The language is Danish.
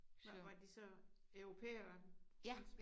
Nåh var de så europæere også?